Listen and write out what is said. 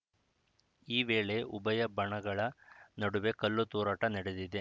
ಈ ವೇಳೆ ಉಭಯ ಬಣಗಳ ನಡುವೆ ಕಲ್ಲು ತೂರಾಟ ನಡೆದಿದೆ